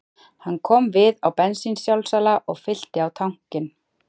Hann kom við á bensínsjálfsala og fyllti tankinn